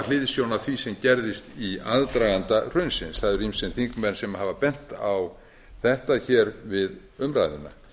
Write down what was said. hliðsjón af því sem gerðist í aðdraganda hrunsins það eru ýmsir þingmenn sem hafa bent á þetta við umræðuna